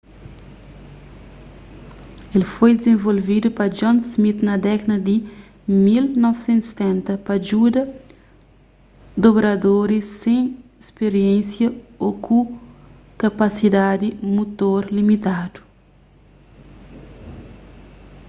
el foi dizenvolvedu pa john smith na dékada di 1970 pa djuda dobradoris sen spiriénsia ô ku kapasidadi mutor limitadu